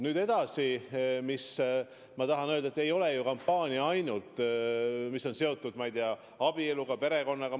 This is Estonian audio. Nüüd edasi, mis ma tahan öelda: ei ole ju kampaania seotud ainult, ma ei tea, abieluga, perekonnaga.